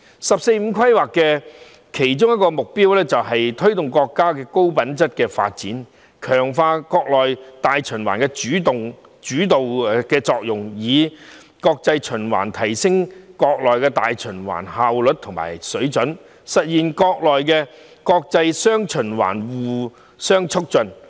"十四五"規劃的其中一個目標，是推動國家的高品質發展，強化國內大循環的主導作用，以國際循環提升國內大循環效率和水準，實現國內國際"雙循環"互相促進。